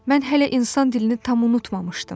Mən hələ insan dilini tam unutmamışdım.